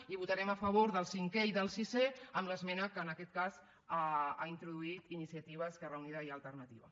i votarem a favor del cinquè i del sisè amb l’esmena que en aquest cas ha introduït iniciativa esquerra unida i alternativa